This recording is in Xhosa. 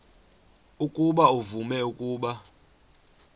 ukuba uvume ukuba